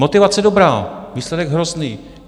Motivace dobrá, výsledek hrozný.